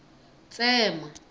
tsema